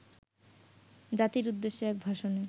জাতির উদ্দেশ্যে এক ভাষণে